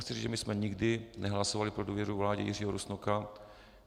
Chci říct, že my jsme nikdy nehlasovali pro důvěru vládě Jiřího Rusnoka.